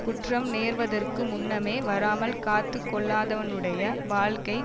குற்றம் நேர்வதற்கு முன்னமே வராமல் காத்து கொள்ளாதவனுடைய வாழ்க்கை